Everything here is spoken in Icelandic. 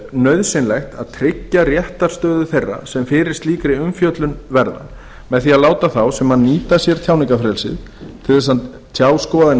nauðsynlegt að tryggja réttarstöðu þeirra sem fyrir slíkri umfjöllun verða með því að láta þá sem nýta sér tjáningarfrelsið til að tjá skoðanir